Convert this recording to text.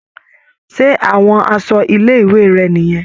Ṣé àwọn aṣọ ilé-ìwé rẹ̀ nìyẹn.